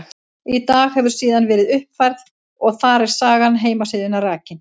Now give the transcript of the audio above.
Í dag hefur síðan verið uppfærð og þar er saga heimasíðunnar rakin.